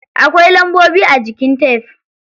Akwai lambobi a jikin tef.